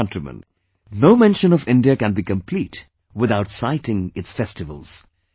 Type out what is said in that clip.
My dear countrymen, no mention of India can be complete without citing its festivals